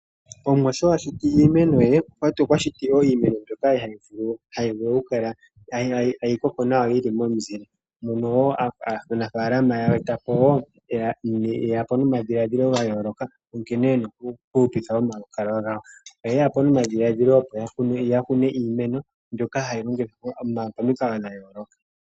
Omuwa sho a shiti iimeno ye okwa shiti wo iimeno mbyoka hayi vulu okukala tayi koko nawa yi li momuzile mono wo aanafaalama ye ya po nomadhiladhilo ga yooloka nkene ye na okuhupitha omalukalwa gawo. Oye ya po nomadhiladhilo opo ya kune iimeno mbyoka hayi mene pamikalo dha yooloka.